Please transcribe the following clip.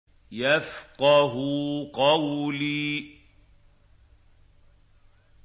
يَفْقَهُوا قَوْلِي